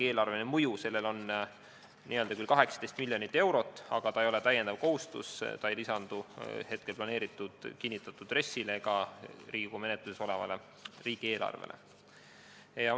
Eelarveline mõju on küll 18 miljonit eurot, aga see ei ole lisakohustus, see ei lisandu kinnitatud RES-ile ega Riigikogu menetluses olevale riigieelarvele.